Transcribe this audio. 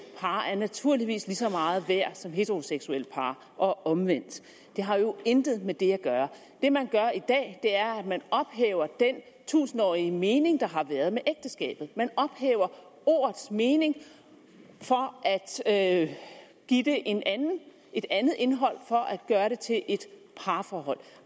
par er naturligvis lige så meget værd som heteroseksuelle par og omvendt det har jo intet med det at gøre det man gør i dag er at man ophæver den tusindårige mening der har været med ægteskabet man ophæver ordets mening for at give det et andet indhold for at gøre det til et parforhold